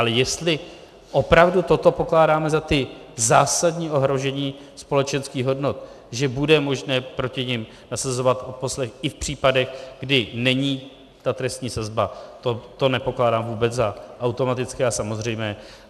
Ale jestli opravdu toto pokládáme za ta zásadní ohrožení společenských hodnot, že bude možné proti nim nasazovat odposlech i v případech, kdy není ta trestní sazba, to nepokládám vůbec za automatické a samozřejmé.